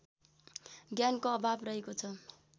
ज्ञानको अभाव रहेको छ